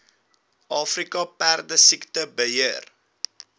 afrika perdesiekte beheer